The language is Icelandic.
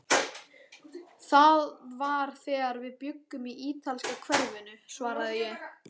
Það var þegar við bjuggum í ítalska hverfinu svaraði ég.